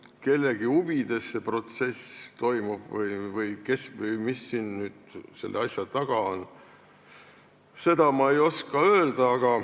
Kas see protsess toimub kellegi huvides või kes või mis selle asja taga on, seda ma ei oska öelda.